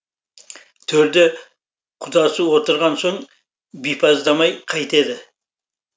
төрде құдасы отырған соң бипаздамай қайтеді